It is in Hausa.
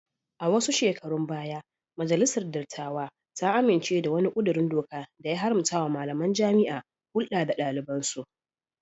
A wasu shekarun baya majalisar dattawa ta amince da wani kudirin doka da ya haramtawa malamain jaami'a hulda da dalibansu